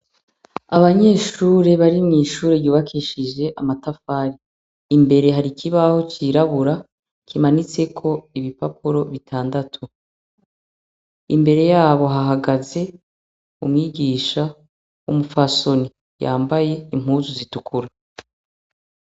Abanyeshure bari mw'ishure ryubakishijwe amatafari imbere har'ikibaho cirabura kimanitseko ibipapuro bitandatu imbere yaho hahagaze umwigisha w'umupfasoni yambaye impuzu zitukura .